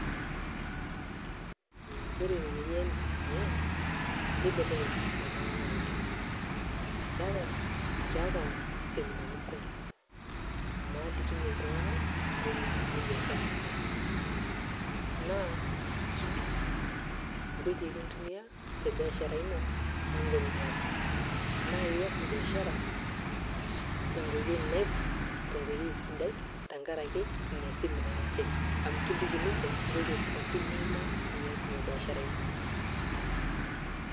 Kore ina naji NCBA, naa kibelekeny' iltung'ana oleng'.Keata seminars kumok, naalikinye iltung'ana nkoitoi naalimunye biashara. Naa kiliki nkoitoi nintumia te biashara ino ningoru enias, naa ias biashara te nkoitoi sidai tenkaraki ina NCBA amu kiliki ninche nkoitoi pooki niima ias ina biashara ino